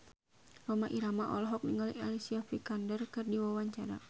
Rhoma Irama olohok ningali Alicia Vikander keur diwawancara